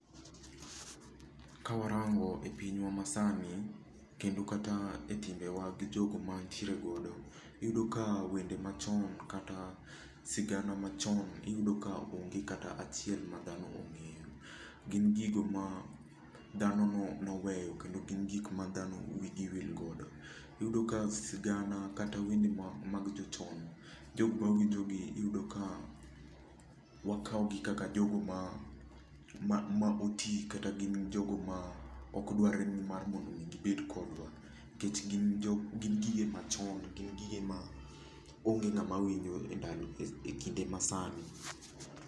Kawarango e pinywa masani kendo kata e timbewa gi jogo mantiere godo, iyudo ka wende machon kata sigana machon, iyudo ka onge kata achiel ma dhano ongeyo, gin gigo ma dhano noweyo kendo gin gigo ma dhano wigi wil godo. Iyudo ka sigana kata wende mag jochon jokma winjogi iyudo ka wakaw gi kaka jogo ma otii kata gin jogo ma okdwarre ni mar mondo mi gibed kodwa nikech gin gige machon,, gin gige ma onge kama winjo e ndalo, e kinde masani.